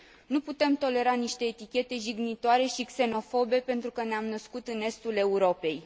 Nu putem tolera niște etichete jignitoare și xenofobe pentru că ne am născut în estul Europei.